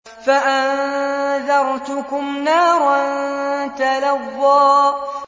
فَأَنذَرْتُكُمْ نَارًا تَلَظَّىٰ